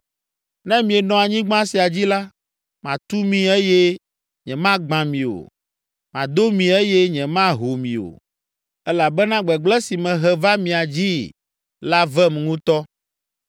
‘Ne mienɔ anyigba sia dzi la, matu mi eye nyemagbã mi o, mado mi eye nyemaho mi o, elabena gbegblẽ si mehe va mia dzii la vem ŋutɔ.